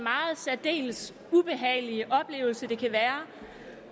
særdeles ubehagelige oplevelse det kan være